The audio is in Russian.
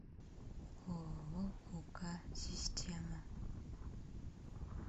ооо ук система